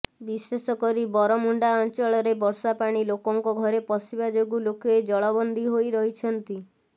ବିଶେଷକରି ବରମୁଣ୍ଡା ଅଞ୍ଚଳରେ ବର୍ଷାପାଣି ଲୋକଙ୍କ ଘରେ ପଶିବା ଯୋଗୁଁ ଲୋକେ ଜଳବନ୍ଦୀ ହୋଇରହିଛନ୍ତି